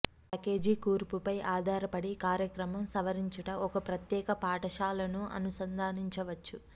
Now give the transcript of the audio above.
package కూర్పు పై ఆధారపడి కార్యక్రమం సవరించుట ఒక ప్రత్యేక పాఠశాలను అనుసంధానించవచ్చు